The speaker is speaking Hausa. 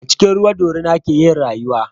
A cikin ruwa dorina ke yin rayuwa